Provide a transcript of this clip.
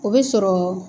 O bɛ sɔrɔ